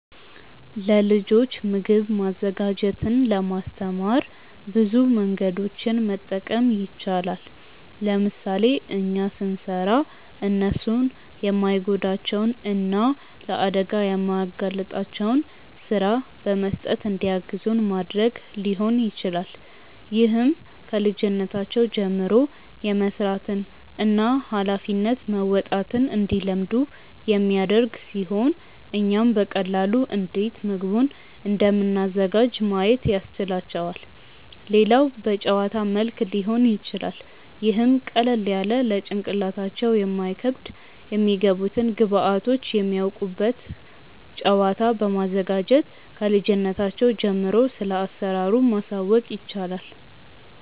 ለልጆች ምግብ ማዘጋጀትን ለማስተማር ብዙ መንገዶችን መጠቀም ይቻላል። ለምሳሌ እኛ ስንሰራ እነርሱን የማይጎዳቸውን እና ለአደጋ የማያጋልጣቸውን ስራ በመስጠት እንዲያግዙን ማድረግ ሊሆን ይችላል። ይህም ከልጅነታቸው ጀምሮ የመስራትን እና ሃላፊነት መወጣትን እንዲለምዱ የሚያደርግ ሲሆን እኛም በቀላሉ እንዴት ምግቡን እንደምናዘጋጅ ማየት ያስችላቸዋል። ሌላው በጨዋታ መልክ ሊሆን ይችላል ይህም ቀለል ያለ ለጭንቅላታቸው የማይከብድ የሚገቡትን ግብዐቶች የሚያውቁበት ጨዋታ በማዘጋጀት ክልጅነታቸው ጀምሮ ስለአሰራሩ ማሳወቅ ይቻላል።